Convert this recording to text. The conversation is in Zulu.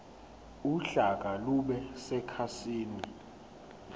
uhlaka lube sekhasini